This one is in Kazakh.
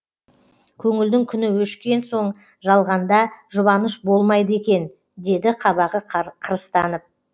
көңілдің күні өшкен соң жалғанда жұбаныш болмайды екен деді қабағы қырыстанып